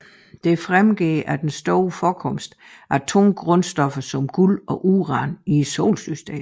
Dette fremgår af den store forekomst af tunge grundstoffer som guld og uran i solsystemet